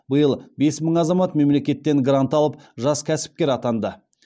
биыл бес мың азамат мемлекеттен грант алып жас кәсіпкер атанды